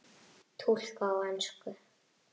Túlkað á ensku.